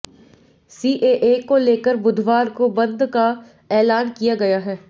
CAA को लेकर बुधवार को बंद का ऐलान किया गया है